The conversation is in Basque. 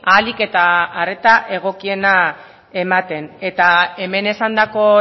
ahalik eta arreta egokiena ematen eta hemen esandako